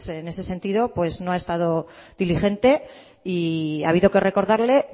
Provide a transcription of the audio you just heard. en ese sentido no ha estado diligente y ha habido que recordarle